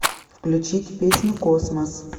включить песню космос